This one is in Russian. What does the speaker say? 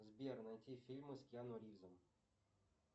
сбер найти фильмы с киану ривзом